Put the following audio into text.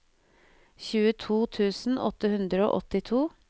tjueto tusen åtte hundre og åttito